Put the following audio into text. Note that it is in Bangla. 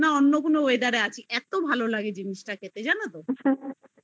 কোনো weather এ আছি এত ভালো লাগে জিনিসটা খেতে জানো তো